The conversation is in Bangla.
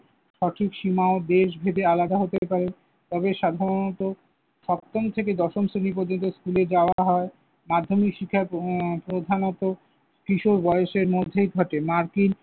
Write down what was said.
সঠিক সীমাও দেশভেদে আলাদা হতে পারে। তবে সাধারণত সপ্তম থেকে দশম শ্রেণী পর্যন্ত স্কুলে যাওয়া হয়। মাধ্যমিক শিক্ষা উম প্রধানত কিশোর বয়সের মধ্যেই ঘটে। মার্কিন